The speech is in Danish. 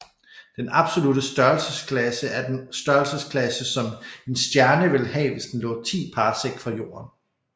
Den absolutte størrelsesklasse er den størrelsesklasse som en stjerne ville have hvis den lå 10 parsec fra jorden